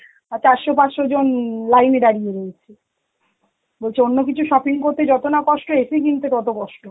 আঁ চারশো পাঁচশো জন উম line এ দাঁড়িয়ে রয়েছে. বলছে অন্য কিছু shopping করতে যত না কষ্ট, AC কিনতে তত কষ্ট.